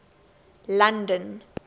london